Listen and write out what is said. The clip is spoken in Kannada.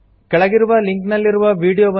ಕೆಳಗಿರುವ ಲಿಂಕ್ ನಲ್ಲಿರುವ ವೀಡಿಯೊವನ್ನು ನೋಡಿ